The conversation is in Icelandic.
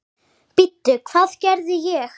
Bíddu, hvað gerði ég?